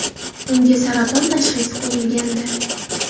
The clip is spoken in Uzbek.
Unga saraton tashxisi qo‘yilgandi.